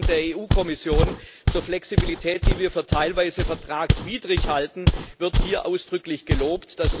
Die Mitteilung der EU Kommission zur Flexibilität, die wir für teilweise vertragswidrig halten, wird hier ausdrücklich gelobt.